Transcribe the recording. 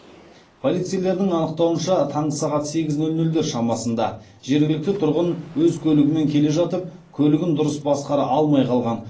полицейлердің анықтауынша таңғы сағат сегіз нөл нөлдер шамасында жергілікті тұрғын өз көлігімен келе жатып көлігін дұрыс басқара алмай қалған